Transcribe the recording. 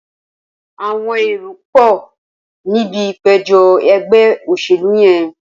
Awọn éró pọ nibi ipéjọ̀ ẹgbẹ óṣélú yèn